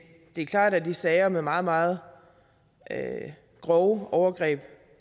det er klart at i sager med meget meget grove overgreb